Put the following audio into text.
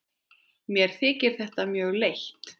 Mér þykir þetta mjög leitt.